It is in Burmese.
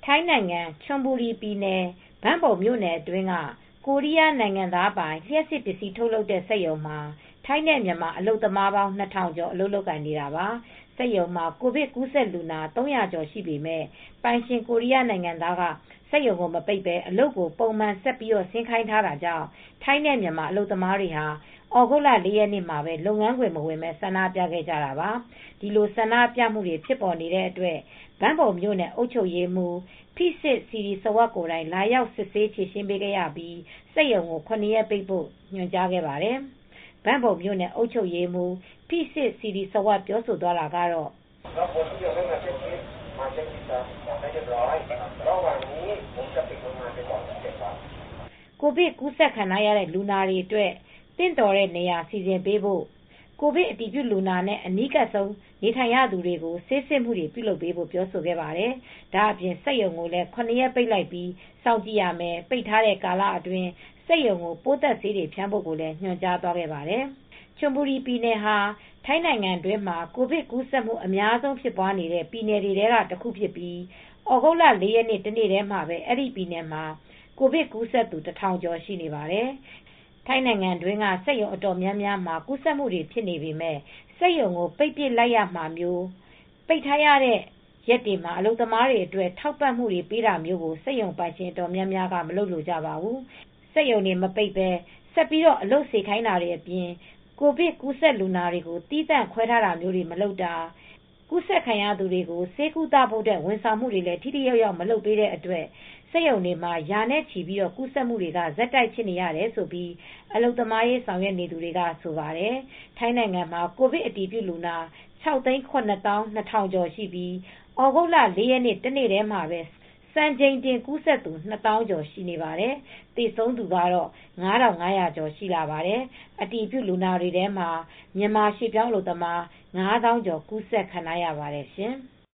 ထိုင်နိုင်ငံ ချွန်ဘူရီပြည်နယ် Ban Bueng ဘန်ဘုံမြို့နယ်အတွင်းက ကိုရီယားနိုင်ငံသားပိုင် လျပ်စစ်ပစ္စည်းထုတ်လုပ်တဲ့စက်ရုံမှာ ထိုင်းမြန်မာ အလုပ်သမားပေါင်း ၂၀၀၀ကျော် လုပ်ကိုင်နေတာပါ။ စက်ရုံမှာ ကိုဗစ်ကူးစက်သူ လူနာ ၃၀၀ ကျော်ရှိပေမယ့် ပိုင်ရှင်ကိုရီးယားနိုင်ငံသားက စက်ရုံကိုမပိတ်ပဲအလုပ်ကို ပုံမှန်ဆက်ဆင်း ခိုင်းထားတာကြောင့် ထိုင်းနဲ့မြန်မာအလုပ်သမားတွေဟာ သြဂုတ်လ ၄ရက်နေ့မှာပဲ လုပ်ငန်းခွင့်မဝင်ပဲ ဆန္ဒပြခဲ့ကြတာပါ။ ဒီလိုဆန္ဒပြမူတွေဖြစ်ပေါ်နေတဲ့အတွက် ဘန်ဘုံမြို့နယ် အုပ်ချုပ်ရေးမှူး Pisit Sirisawas ဖိစစ်စီရီစဝပ် ကိုယ်တိုင်လာရောက် စစ်ဆေးဖြေရှင်းပေးခဲ့ရပြီး စက်ရုံကို ရက်ပိတ်ဖို့ညွန်ကြားခဲ့ပါတယ်။ ဘန်ဘုံမြို့နယ် အုပ်ချုပ်ရေးမှူး Pisit Sirisawas ဖိစစ်စီရီစဝပ် ပြောသွားတာကတော့ ကိုဗစ် ကူးစက်ခံထားရတဲ့ လူနာတွေအတွက် သင့်တော်တဲ့နေရာစီစဉ်ပေးဖို့ ကိုဗစ်အတည်ပြုလူနာနဲ အနီးကပ်ဆုံးနေထိုင်နေရသူတွေကို ဆေးစစ်မှုတွေပြုလုပ်ပေးဖို့ပြောဆိုခဲ့ပါတယ် ။ဒါအပြင်စက်ရုံကိုလည်း ၇ ရက်ပိတ်လိုက်ပြီး စောင်ကြည့်ရမယ် ။ ပိတ်ထားတဲ့ကာလအတွင်း စက်ရုံကိုပိုးသတ်ဆေးတွေဖြန်းဖို့ကိုလည်း ညွှန်ကြားခဲ့ပါတယ် ။ ချွန်ဘူရီပြည်နယ်ဟာ ထိုင်းနိုင်ငံမှာ ကိုဗစ်ကူးစက်မှု အများဆုံး ဖြစ်ပွားနေတဲ့ ပြည်နယ်တွေထဲက တခုဖြစ်ပြီး သြဂုတ်လ၄ ရက်နေ့တနေ့တည်းမှာပဲ အဲဒီပြည်နယ်မှာ ကိုဗစ်ကူးစက်သူ ၁၀၀၀ကျော်ရှိနေပါတယ် ။ ထိုင်းနိုင်ငံတွင်းက စက်ရုံအတော်များများမှာ ကူးစက်မှုတွေဖြစ်နေပေမယ့် စက်ရုံကိုပိတ်ပစ်လိုက်ရမှာမျိုး ပိတ်ထားတဲ့ရက်တွေမှာ အလုပ်သမားတွေအတွက် ထောက်ပံ့မူတွေပေးတာကိုစက်ရုံပိုင်ရှင်အတော်များများက မလုပ်လိုကြပါဘူး ။ စက်ရုံတွေမပိတ်ပဲ ဆက်အလုပ်စေခိုင်းနေတာတွေအပြင် ကိုဗစ်ကူးစက်လူနာတွေကို သီးသန့်ခွဲထားတာမျိုးတွေမလုပ်တာ ကူးစက်ခံရသူတွေကို ဆေးကုသဖို့ ဝန်ဆောင်မှုတွေလည်း ထိထိရောက်ရောက်မလုပ်တဲ့အတွက် စက်ရုံတွေမှာ ရာဂဏန်းထိ ကူးစက်မူတွေက ဆက်တိုက်ဖြစ်နေရတယ်လို့ အလုပ်သမားရေးဆောင်ရွက်နေသူတွေကဆိုပါတယ်။ ထိုင်းနိုင်ငံမှာ ကိုဗစ်အတည်ပြု လူနာ ၆၇၂၀၀၀ ကျော်ရှိပြီး သြဂုတ်လ၄ရက်နေ့ တနေ့တည်း စံချိန်တင် ကူးစက်သူ၂၀၀၀၀ ကျော်ရှိပါတယ်။ သေဆုံးသူကတော့ ၅၅၀၀ကျော်ရှိလာပါတယ်။ အတည်ပြုလူနာတွေထဲမှာမြန်မာရွေပြောင်းအလုပ်သမား၅သောင်းကျော်ကူးစက်ခံထားရပါတယ်ရှင်။